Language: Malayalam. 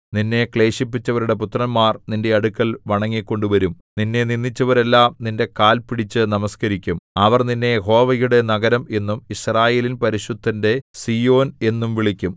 നിന്നെ ക്ലേശിപ്പിച്ചവരുടെ പുത്രന്മാർ നിന്റെ അടുക്കൽ വണങ്ങിക്കൊണ്ടു വരും നിന്നെ നിന്ദിച്ചവരെല്ലാം നിന്റെ കാൽ പിടിച്ചു നമസ്കരിക്കും അവർ നിന്നെ യഹോവയുടെ നഗരം എന്നും യിസ്രായേലിൻ പരിശുദ്ധന്റെ സീയോൻ എന്നും വിളിക്കും